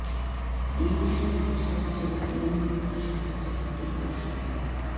এ বিষয়ে রাজবাড়ী জেলা ইমাম কমিটির সভাপতি আবুল এরশাদ মো